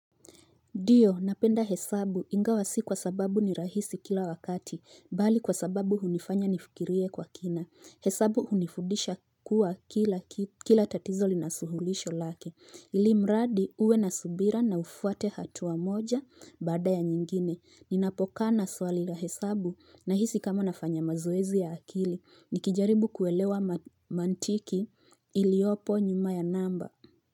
Ndio napenda hesabu ingawa si kwa sababu ni rahisi kila wakati bali kwa sababu hunifanya nifikirie kwa kina hesabu hunifudisha kuwa kila kitu kila tatizo linasuluhisho lake ili mradi uwe na subira na ufuate hatua wa moja baada ya nyingine ninapokana swali la hesabu nahisi kama nafanya mazoezi ya akili nikijaribu kuelewa mantiki iliopo nyuma ya namba.